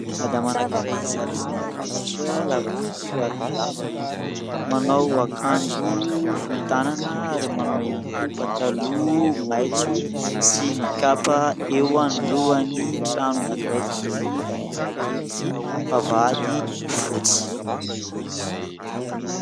Madama anankiray zarazara hoditra lava volo ary malama. Manao akanjo fohy tanana ary manao ihany ko pataloha maitso sy mikapa eo anoloany trano anankiray misy varavarankely sy vavahady fotsy.